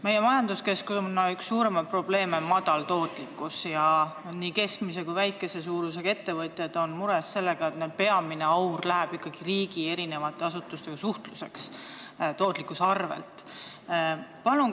Meie majanduskeskkonna üks suurimaid probleeme on madal tootlikkus ja nii keskmise kui väikese suurusega ettevõtjad on mures sellepärast, et peamine aur läheb neil ikkagi riigiasutustega suhtlusele tootlikkuse arvel.